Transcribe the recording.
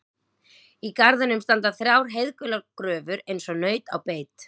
Í garðinum standa þrjár heiðgular gröfur eins og naut á beit.